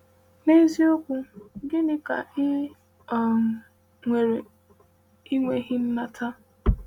“N’eziokwu, gịnị ka ị um nwere ị nweghị nata?”